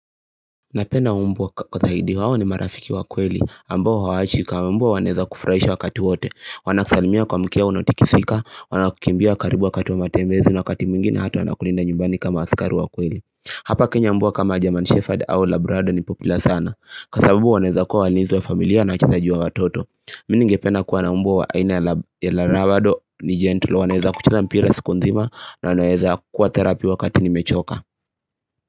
Napenda mbwa kutahidi wawo ni marafiki wa kweli ambao hawachi kama umbuwa waneza kufurahisho wakati wote Wanaksalimia kwa mkia unotikifika, wanakukimbia karibu wakati wa matembezi na wakati mingi na hatu wanakulinda nyumbani kama asikari wa kweli Hapa kenya mbwa kama German shepherd au labrado ni popula sana Kasabubu waneza kuwa walinizwa familia na chithajiwa watoto Mininge pedna kuwa na mbwa aina yala labrado ni gentle Waneza kuchila mpira siku ndhima na waneza kuwa therapi wakati ni mechoka.